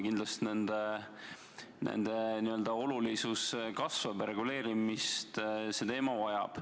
Kindlasti nende olulisus kasvab ja reguleerimist see teema vajab.